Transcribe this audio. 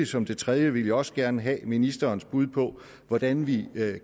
som det tredje også gerne have ministerens bud på hvordan vi